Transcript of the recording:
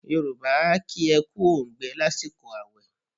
Yorùbá a kí ẹ kú óǹgbẹ lásìkò àwẹ̀.